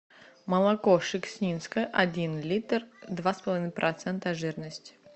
молоко шекснинское один литр два с половиной процента жирности